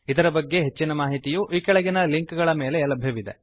ಇದರ ಬಗ್ಗೆ ಹೆಚ್ಚಿನ ಮಾಹಿತಿಯು ಈ ಕೆಳಗಿನ ಲಿಂಕ್ ಗಳ ಮೇಲೆ ಲಭ್ಯವಿದೆ